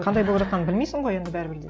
қандай болып жатқанын білмейсің ғой енді бәрібір де